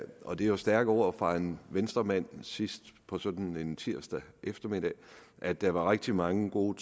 og det er jo stærke ord fra en venstremand sidst på sådan en tirsdag eftermiddag at der var rigtig mange gode